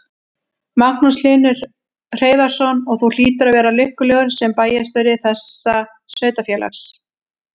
Magnús Hlynur Hreiðarsson: Og þú hlýtur að vera lukkulegur sem bæjarstjóri þessa sveitarfélags?